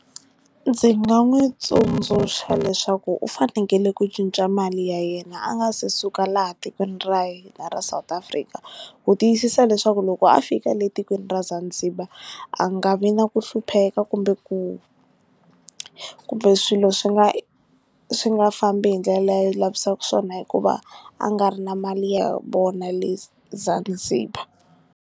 Ndzi nga n'wi tsundzuxa leswaku u fanekele ku cinca mali ya yena a nga se suka laha tikweni ra yena ra South Africa ku tiyisisa leswaku loko a fika le etikweni ra Zanzibar a nga vi na ku hlupheka kumbe ku kumbe swilo swi nga swi nga fambi hi ndlela leyi a lavisaka swona hikuva a nga ri na mali ya vona le Zanzibar.